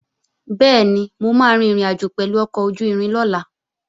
Bẹ́ẹ̀ni, mo máa rin ìrìnàjò pẹ̀lú ọkọ̀ ojú-irin lọ́la